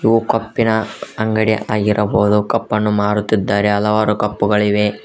ಓ ಕಪ್ಪಿ ನ ಅಂಗಡಿ ಆಗಿರಬಹುದು ಕಪ್ ಅನ್ನು ಮಾರುತ್ತಿದ್ದಾರೆ ಹಲವಾರು ಕಪ್ಪು ಗಳಿವೆ.